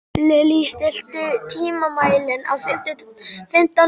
Lilley, stilltu tímamælinn á fimmtán mínútur.